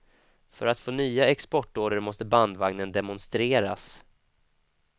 För att få nya exportorder måste bandvagnen demonstreras.